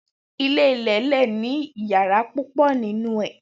ile ile le ni iyara pupo ninu ee